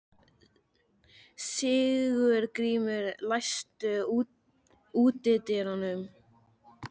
Sigurgrímur, læstu útidyrunum.